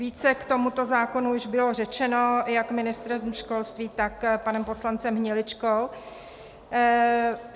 Více k tomuto zákonu již bylo řečeno jak ministrem školství, tak panem poslancem Hniličkou.